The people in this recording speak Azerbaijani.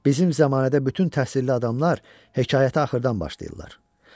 Bizim zəmanədə bütün təhsilli adamlar hekayətə axırdan başlayırlar.